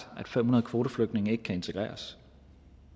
at fem hundrede kvoteflygtninge ikke kan integreres